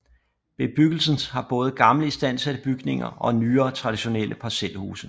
Bebyggelsens har både gamle istandsatte bygninger og nyere traditionelle parcelhuse